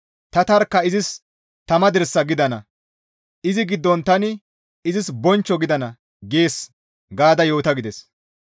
Tani tarkka izis tama dirsa gidana; izi giddon tani izis bonchcho gidana› gees gaada yoota» gides.